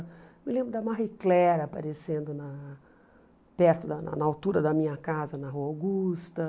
Eu me lembro da Marie Claire aparecendo na perto, na altura da minha casa, na Rua Augusta.